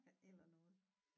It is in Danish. Eller noget